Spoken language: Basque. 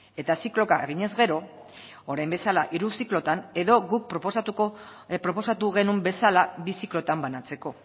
eta zikloka eginez gero orain bezala hiru ziklotan edo guk proposatu genuen bezala bi ziklotan banatzeko